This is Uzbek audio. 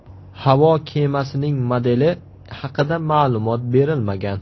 Havo kemasining modeli haqida ma’lumot berilmagan.